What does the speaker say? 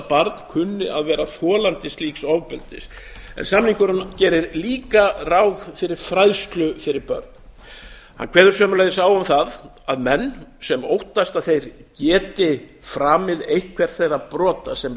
barn kunni að vera þolandi slík ofbeldis samningurinn gerir líka ráð fyrir fræðslu fyrir börn hann kveður sömuleiðis á um það að menn sem óttast að þeir geti framið eitthvert þeirra brota sem